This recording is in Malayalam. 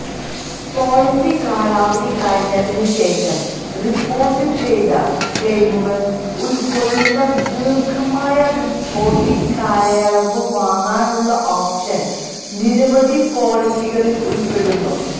പോളിസി കാലാവധി കഴിഞ്ഞതിനുശേഷം റിപ്പോർട്ടുചെയ്ത ക്ലെയിമുകൾ ഉൾക്കൊള്ളുന്ന ദീർഘമായ റിപ്പോർട്ടിംഗ് കാലയളവ് വാങ്ങാനുള്ള ഓപ്ഷൻ നിരവധി പോളിസികളിൽ ഉൾപ്പെടുന്നു